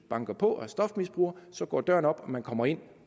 banker på og er stofmisbruger så går døren op og man kommer ind